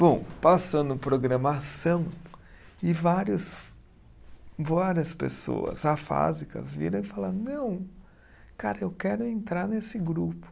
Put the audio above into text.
Bom, passando programação, e vários, várias pessoas afásicas viram e falaram, não, cara, eu quero entrar nesse grupo.